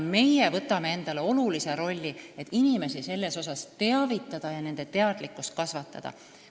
Meie võtame endale olulise rolli – teavitame inimesi ja proovime nende teadlikkust kasvatada.